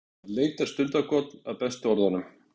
Hann leitar stundarkorn að bestu orðunum.